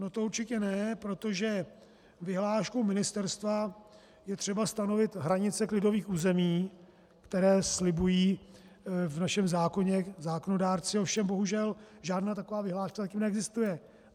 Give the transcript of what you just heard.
No to určitě ne, protože vyhláškou ministerstva je třeba stanovit hranice klidových území, které slibují v našem zákoně zákonodárci, ovšem bohužel, žádná taková vyhláška zatím neexistuje.